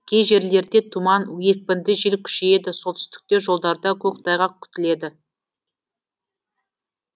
кей жерлерде тұман екпінді жел күшейеді солтүстікте жолдарда көктайғақ күтіледі